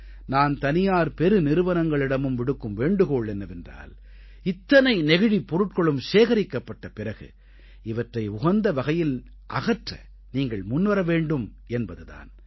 நான் தனியார் பெருநிறுவனங்களிடமும் விடுக்கும் வேண்டுகோள் என்னவென்றால் இத்தனை நெகிழிப் பொருட்களும் சேகரிக்கப்பட்ட பிறகு இவற்றை உகந்த வகையில் அகற்ற நீங்கள் முன்வர வேண்டும் என்பது தான்